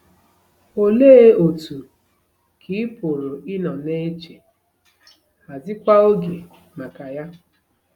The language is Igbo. ‘Olee otú ,’ ka ị pụrụ ịnọ na-eche, ‘ hazikwa oge maka ya? '